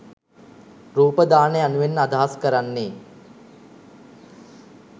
රූප දාන යනුවෙන් අදහස් කරන්නේ